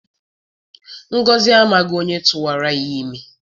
Ngọzị amaghị onye tụwara ya ime.